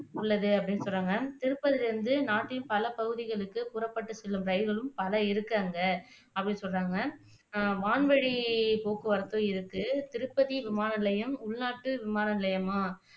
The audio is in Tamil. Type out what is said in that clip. உள்ளது அப்படின்னு சொல்றாங்க திருப்பதில இருந்து நாட்டின் பல பகுதிகளுக்கு புறப்பட்டு செல்லும் ரயில்களும் பல இருக்கு அங்க அப்படின்னு சொல்றாங்க அஹ் வான்வழிப்போக்குவரத்தும் இருக்கு திருப்பதி விமான நிலையம் உள்நாட்டு விமான நிலையமா